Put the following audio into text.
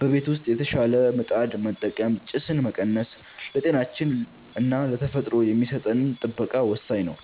በቤት ውስጥ የተሻሻለ ምጣድ በመጠቀም ጭስን መቀነስ ለጤናችንና ለተፈጥሮ የሚሰጠን ጥበቃ ወሳኝ ነው።